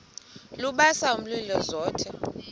lubasa umlilo zothe